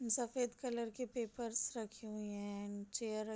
सफ़ेद कलर्स के पेपर्स रखी हुई हैं चेयर --